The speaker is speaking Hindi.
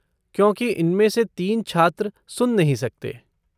क्योंकि उनमें से तीन छात्र सुन नहीं सकते।